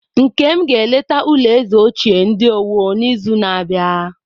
Nkem ga-eleta ulo eze ochie ndi Owo n'izu na-abịa.